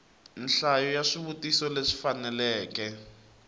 nhlayo ya swivutiso leswi faneleke